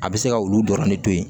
A bɛ se ka olu dɔrɔn de to yen